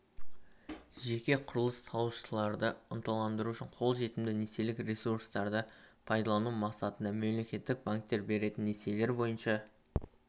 жеке құрылыс салушыларды ынталандыру үшін қолжетімді несиелік ресурстарды пайдалану мақсатында мемлекет банктер беретін несиелер бойынша